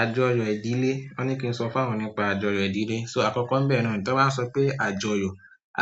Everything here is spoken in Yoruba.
Àjọyọ̀ ìdílé. Wọ́n ní kí n sọ fún àwọn nípa àjọyọ̀ ìdílé. So àkọ́kọ́ ń bẹ̀ náà, tí wọ́n bá sọ pé àjọyọ̀,